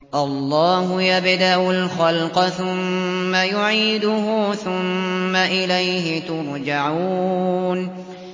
اللَّهُ يَبْدَأُ الْخَلْقَ ثُمَّ يُعِيدُهُ ثُمَّ إِلَيْهِ تُرْجَعُونَ